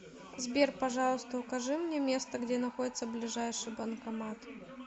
сбер пожалуйста укажи мне место где находится ближайший банкомат